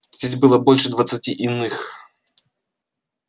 здесь было больше двадцати иных